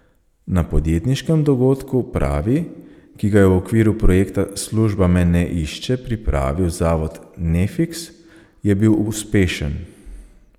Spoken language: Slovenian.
Na podjetniškem dogodku Pravi, ki ga je v okviru projekta Služba me ne išče pripravil Zavod Nefiks, je bil uspešen.